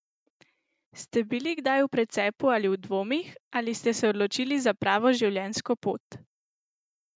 Ste bili kdaj v precepu ali v dvomih, ali ste se odločili za pravo življenjsko pot?